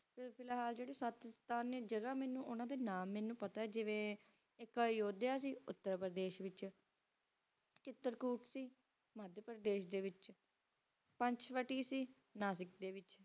ਤੇ ਫਿਲਹਾਲ ਸਤਿਤਸਟਾਂ ਜਗ੍ਹਾ ਹੈ ਜੈਰੀ ਉਡਦੇ ਬਾਰੇ ਪਤਾ ਹੈ ਮੈਨੂੰ ਊਨਾ ਦੇ ਨਾਮ ਮੈਨੂੰ ਪਤਾ ਹੈਜੇਇਰੇ ਐਕਯੋਦਯਾ ਸੀ ਉੱਤਰ ਪਰਦੇਸ਼ ਵਿਚ ਐਕਰਤੁਸ਼ ਸੀ ਮਹਾ ਪ੍ਰਦੇਸ਼ ਦੇ ਵਿਚ ਪੰਚ ਵਤੀ ਸੀ ਨਾਸਿਕ ਦੇ ਵਿਚਵ